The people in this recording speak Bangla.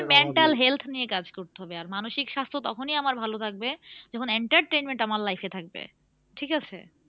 আমাদের mental health নিয়ে কাজ করতে হবে আর মানসিক স্বাস্থ্য আমার তখনি ভালো থাকবে যখন entertainment আমার life এ থাকবে ঠিক আছে?